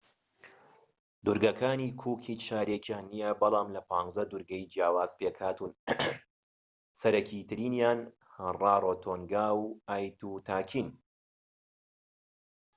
دوورگەکانی کوک هیچ شارێکیان نیە بەڵام لە 15 دوورگەی جیاواز پێکهاتوون سەرەكی ترینیان ڕارۆتۆنگا و ئایتوتاکین